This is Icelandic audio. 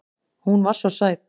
Hún var svo sæt.